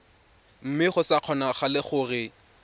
mme go sa kgonagale gore